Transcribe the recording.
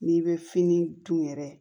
N'i bɛ fini dun yɛrɛ